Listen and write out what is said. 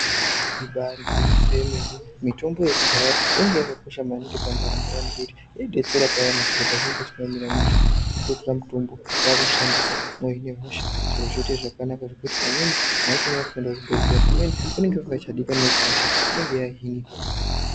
Ibari gwinyiso yemene. Mjtombo yekudhaya yainge yakakosha maningi pandaramo yeantu ngekuti yaidetsera payani zviro pazvinenge zvisina kumira mushe kutotora mutombo kwakushandisa mwohine hosha zviro zvoite zvakanaka ngekuti pamwe mwaitoona kuti kuenda kuchibhehleya kumweni kunenge kusingachadikani ngekuti hosha inenge yahinika.